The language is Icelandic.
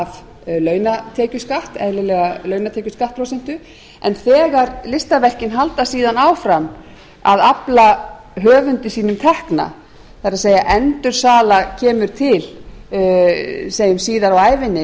af launatekjuskatt eðlilega launatekjuskattsprósentu en þegar listaverkin halda síðan áfram að afla höfundi sínum tekna það er endursala kemur til síðar á ævinni